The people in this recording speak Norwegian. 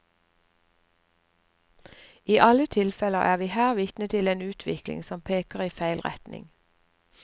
I alle tilfelle er vi her vitne til en utvikling som peker i feil retning.